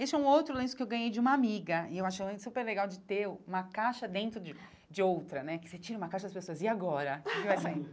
Esse é um outro lenço que eu ganhei de uma amiga e eu achei super legal de ter uma caixa dentro de de outra né, que você tira uma caixa as pessoas e agora o que vai sair?